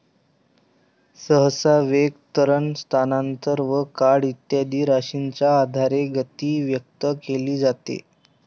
सहसा वेग, त्वरण, स्थानांतर व काळ इत्यादी राशींच्या आधारे गती व्यक्त केली जाते.